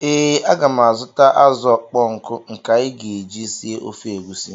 Ee, aga m azụta azụ̀ ọkpọ nkụ nke anyị ga-eji sie ofe egusi.